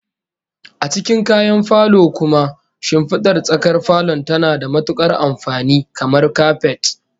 A cikin kayan falo kuma, shimfidar tsakar falon tana da matukar amfani, kamar kapet